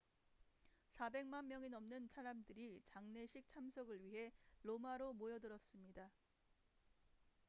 400만 명이 넘는 사람들이 장례식 참석을 위해 로마로 모여들었습니다